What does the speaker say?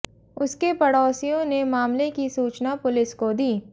उसके पड़ोसियों ने मामले की सूचना पुलिस को दी